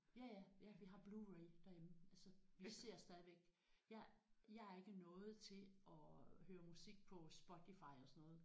Ja ja ja vi har Blu-ray derhjemme altså vi ser stadigvæk jeg jeg er ikke nået til at øh høre musik på Spotify og sådan noget